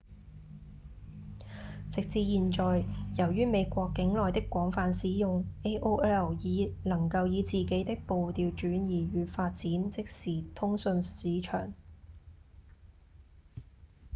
直至現在由於美國境內的廣泛使用 aol 已能夠以自己的步調轉移與發展即時通訊市場